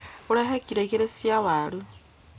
ũrehe kilo igĩrĩ cia waru